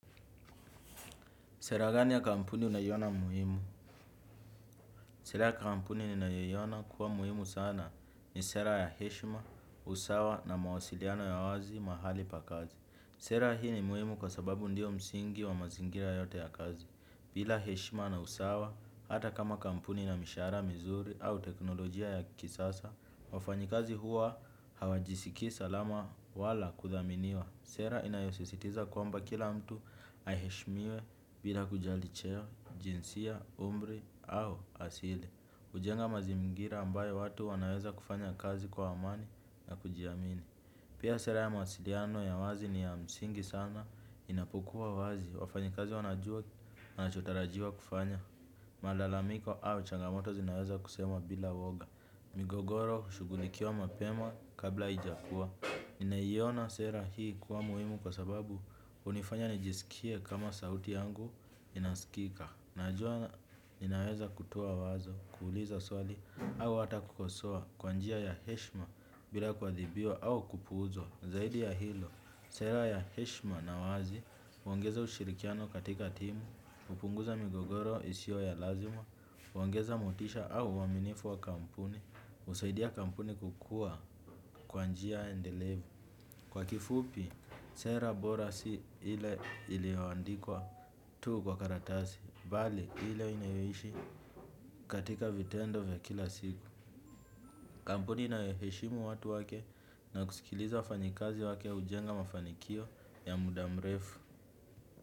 Sera gani ya kampuni unaiyona muhimu? Sera ya kampuni ninayoiona kuwa muhimu sana ni sera ya heshima, usawa na mawasiliano ya wazi mahali pa kazi. Sera hii ni muhimu kwa sababu ndio msingi wa mazingira yote ya kazi. Bila heshima na usawa, hata kama kampuni inamishahara mizuri au teknolojia ya kisasa, wafanyikazi huwa hawajisikii salama wala kudhaminiwa. Sera inayosisitiza kwamba kila mtu aheshmiwe bila kujali cheo. Jinsia, umri au asili ujenga mazingira ambayo watu wanaweza kufanya kazi kwa amani na kujiamini. Pia sera ya mawasiliano ya wazi ni ya msingi sana inapokua wazi. Wafanyikazi wanajua wanachotarajiwa kufanya. Malalamiko au changamoto zinaweza kusema bila woga. Migogoro hushugulikiwa mapema kabla ijakua naiyona sera hii kuwa muimu kwa sababu unifanya nijisikie kama sauti yangu inasikika. Najua ninaweza kutoa wazo, kuuliza swali, au ata kukosoa kwa njia ya heshma bila kwathibiwa au kupuuzwa. Zaidi ya hilo, sera ya heshma na wazi, huongeza ushirikiano katika timu, hupunguza migogoro isio ya lazima, huongeza motisha au uaminifu wa kampuni, husaidia kampuni kukua kwa njia endelevu. Kwa kifupi, sera bora si ile iliyo andikwa tuu kwa karatasi, bali ile inayoishi katika vitendo vya kila siku. Kampuni inayoheshimu watu wake na kusikiliza wafanyikazi wake hujenga mafanikio ya muda mrefu.